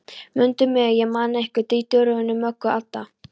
Mundu mig, ég man ykkur Diddu, Rúnu, Möggu, Adda